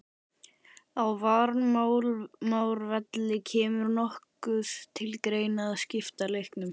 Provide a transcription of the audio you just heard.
Á Varmárvelli Kemur nokkuð til greina að skipta leiknum?